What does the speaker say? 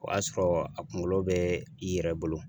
O y'a sɔrɔ a kunkolo bɛ i yɛrɛ bolo.